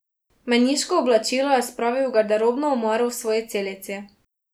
Meniško oblačilo je spravil v garderobno omaro v svoji celici.